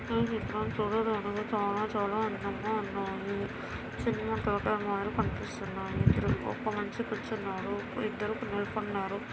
ఈ చిత్రం చూడడానికి చలా చలా అందంగా ఉన్నాయి. చిన్న కనిపిస్తున్నాయి. ఇద్దరు ఒక మనిషి కూర్చున్నాడు. ఇద్దరు నిపడినారు.